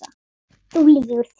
Þú lýgur því